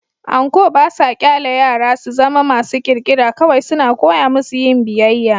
Anko ba sa ƙyale yara su zama masu ƙirƙira - kawai suna koya musu yin biyayya.